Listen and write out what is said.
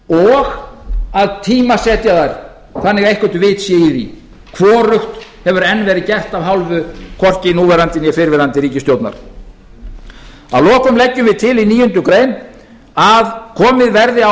og að tímasetja þær þannig að eitthvað vit sé í því hvorugt hefur enn verið gert af hálfu hvorki núverandi né fyrrverandi ríkisstjórnar að lokum leggjum við til í níundu grein að komið verði á